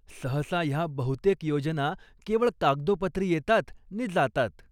सहसा ह्या बहुतेक योजना केवळ कागदोपत्री येतात नि जातात.